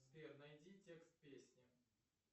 сбер найди текст песни